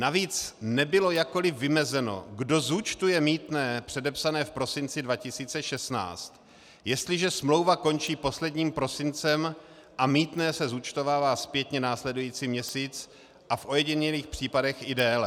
Navíc nebylo jakkoliv vymezeno, kdo zúčtuje mýtné předepsané v prosinci 2016, jestliže smlouva končí posledním prosincem a mýtné se zúčtovává zpětně následující měsíc a v ojedinělých případech i déle.